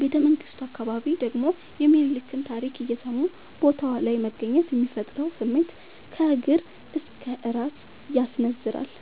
ቤተመንግቱ አካባቢ ደግሞ የሚኒልክን ታሪክ እየሰሙ ቦታው ላይ መገኘት የሚፈጥረው ስሜት ከእግር እስከ እራስ ያስነዝራል።